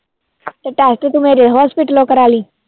test ਤੂੰ ਮੇਰੇ hospital ਕਰਾਲੀ